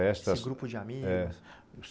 Esse grupo de amigos?